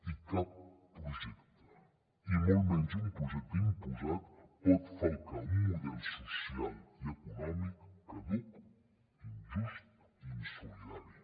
i cap projecte i molt menys un projecte imposat pot falcar un model social i econòmic caduc injust i insolidari